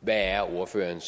hvad er ordførerens